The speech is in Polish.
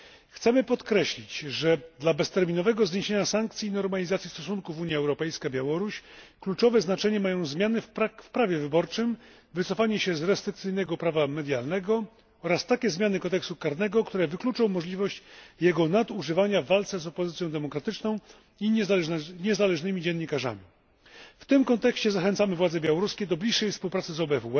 Chcemy podkreślić, że dla bezterminowego zniesienia sankcji i normalizacji stosunków Unia Europejska Białoruś kluczowe znaczenie mają zmiany w prawie wyborczym, wycofanie się z restrykcyjnego prawa medialnego oraz takie zmiany kodeksu karnego, które wykluczą możliwość jego nadużywania w walce z opozycją demokratyczną i niezależnymi dziennikarzami. W tym kontekście zachęcamy władze białoruskie do bliższej współpracy